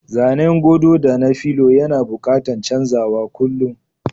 Zanen godo da na filo yana buƙatan chanzawa kullum.